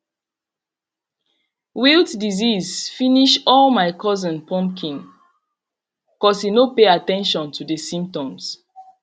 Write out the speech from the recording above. wilt disease finish all my cousin pumpkin cos he no pay at ten tion to the symptoms